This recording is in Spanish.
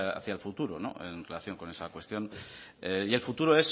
hacía al futuro en relación con esa cuestión y el futuro